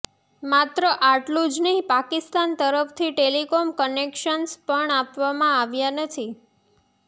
માત્ર આટલુ જ નહિ પાકિસ્તાન તરફથી ટેલિકોમ કનેક્શન્સ પણ આપવામાં આવ્યા નથી